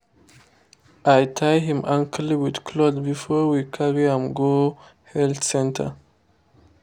i tie him ankle with cloth before we carry am go health center.